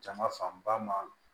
Jama fanba ma